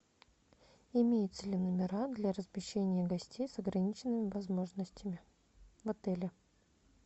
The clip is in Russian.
имеются ли номера для размещения гостей с ограниченными возможностями в отеле